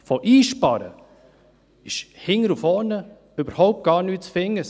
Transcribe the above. Von Einsparen ist hinten und vorne überhaupt nichts zu finden!